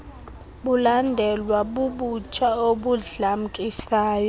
bulandelwa bubutsha obudlamkisayo